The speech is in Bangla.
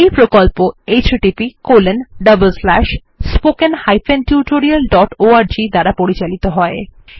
এই প্রকল্প httpspoken tutorialorg দ্বারা পরিচালিত হয়